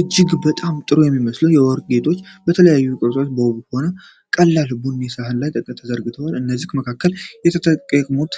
እጅግ በጣም ጥሩ የሚመስሉ የወርቅ ጆሮ ጌጦች በተለያዩ ቅርጾች በጣም ውብ በሆነ ቀላል ቡኒ ሳህን ላይ ተዘርግተዋል። ከእነዚህም መካከል የተጠመጠሙና